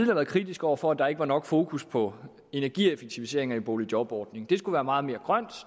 været kritiske over for at der ikke var nok fokus på energieffektiviseringer i boligjobordningen det skulle være meget mere grønt